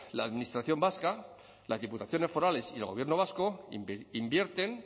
la administración vasca las diputaciones forales y el gobierno vasco invierten